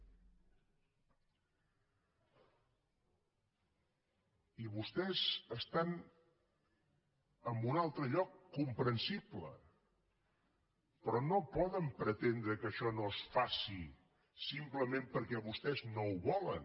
i vostès estan en un altre lloc comprensible però no poden pretendre que això no es faci simplement perquè vostès no ho volen